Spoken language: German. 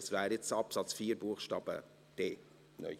Das wäre jetzt Absatz 4 Buchstabe d (neu).